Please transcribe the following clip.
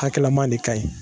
Hakɛlama de ka ɲi.